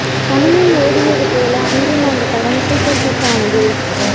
தமிழில் ஓடியது போல அங்கும் அந்த படம் சூப்பர் ஹிட் ஆனது